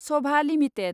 Sabha limited